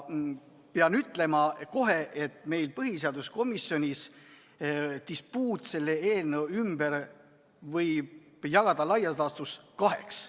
Pean kohe ütlema, et põhiseaduskomisjonis toimunud dispuudi selle eelnõu üle võib jagada laias laastus kaheks.